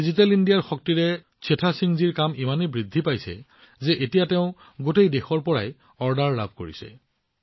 আজি ডিজিটেল ইণ্ডিয়াৰ শক্তিৰ সৈতে চেঠা সিংজীৰ কাম ইমানেই বৃদ্ধি পাইছে যে এতিয়া তেওঁ সমগ্ৰ দেশৰ পৰা অৰ্ডাৰ লাভ কৰিছে